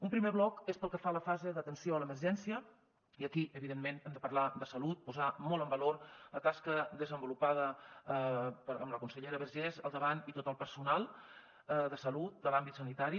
un primer bloc és pel que fa a la fase d’atenció a l’emergència i aquí evidentment hem de parlar de salut posar molt en valor la tasca desenvolupada amb la consellera vergés al davant i tot el personal de salut de l’àmbit sanitari